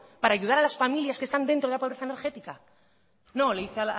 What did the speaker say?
para ayudar a las familias que están dentro de la pobreza energética no le dice